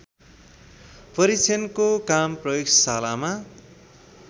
परिक्षणको काम प्रयोगशालामा